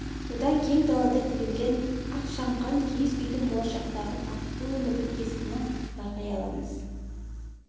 бұдан кең далада тігілген ақ шаңқан киіз үйдің болашақтағы бақытты өмірдің кескінін байқай аламыз